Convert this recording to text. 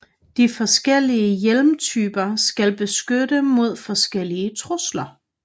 De forskellige hjelmtyper skal beskytte mod forskellige trusler